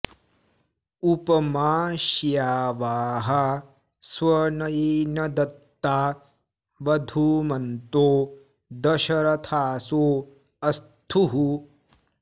उप मा श्यावाः स्वनयेन दत्ता वधूमन्तो दश रथासो अस्थुः